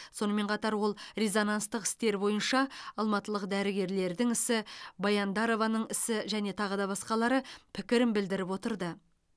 сонымен қатар ол резонанстық істер бойынша алматылық дәрігерлердің ісі баяндарованың ісі және тағы да басқалары пікірін білдіріп отырды